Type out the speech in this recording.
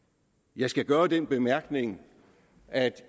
jeg skal gøre den bemærkning at